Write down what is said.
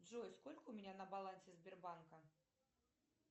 джой сколько у меня на балансе сбербанка